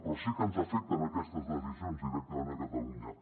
però sí que ens afecten aquestes decisions directament a catalunya